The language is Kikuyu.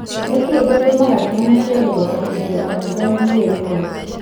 Nĩkĩĩ gĩtũmaga ciana ciage gũbatithio kanitha-inĩ imwe?